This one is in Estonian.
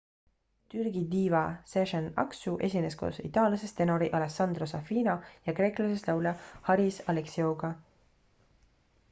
türgi diiva sezen aksu esines koos itaallasest tenori alessandro safina ja kreeklasest laulja haris alexiouga